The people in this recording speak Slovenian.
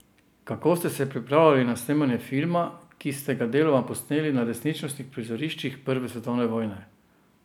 Kako ste se pripravljali na snemanje filma, ki sta ga deloma posneli na resničnih prizoriščih prve svetovne vojne?